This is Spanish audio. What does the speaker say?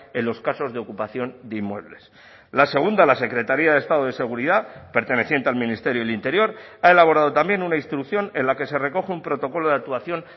en los casos de ocupación de inmuebles la segunda la secretaría de estado de seguridad perteneciente al ministerio del interior ha elaborado también una instrucción en la que se recoge un protocolo de actuación